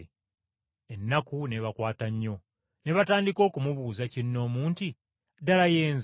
Ennaku n’ebakwata nnyo, ne batandika okumubuuza kinnoomu nti, “Ddala ye nze?”